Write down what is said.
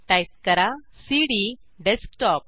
type करा CD desktop